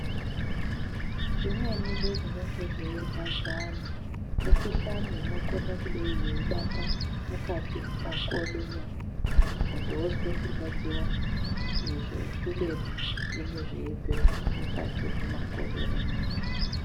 Zvimweni zvezvinenge zveirwadza antu mikuhlani inokone kudei yeitamba mukati makodo memuntu. Muntu vozwe kurwadziva izvo kubeni zvinenge zveibve mukati kumakodo emuntu.